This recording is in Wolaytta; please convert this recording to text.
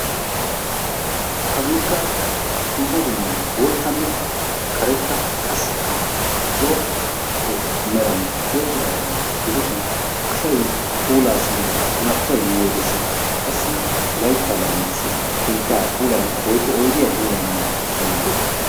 Haggekka dumma dumma boottanne karetta qassikka zo'o meran tiyetidaaga gidishin asay yiyoode qassi laytta laamiyaassi keettaa puulayanaw woykko oyddiyaa puulayanaw maaddees.